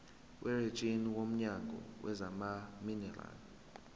werijini womnyango wezamaminerali